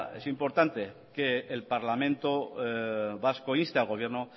es importante que el parlamento vasco inste al gobierno